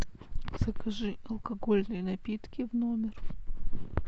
закажи алкогольные напитки в номер